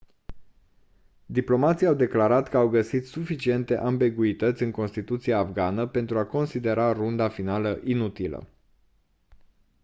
diplomații au declarat că au găsit suficiente ambiguități în constituția afgană pentru a considera runda finală inutilă